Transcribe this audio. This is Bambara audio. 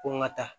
Ko n ka taa